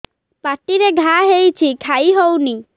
ପାଟିରେ ଘା ହେଇଛି ଖାଇ ହଉନି